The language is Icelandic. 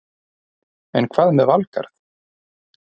En hvað með Valgarð?